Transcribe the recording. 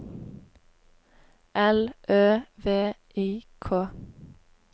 L Ø V I K